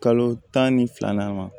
Kalo tan ni fila ma